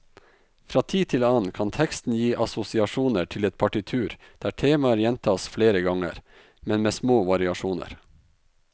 Fra tid til annen kan teksten gi assosiasjoner til et partitur der temaer gjentas flere ganger, men med små variasjoner.